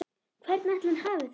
Hvernig ætli hann hafi það?